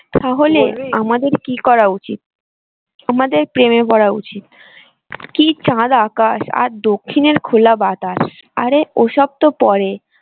আমাদের কি করা উচিত?